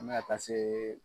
N bɛna taa se